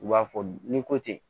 U b'a fɔ ni ko ten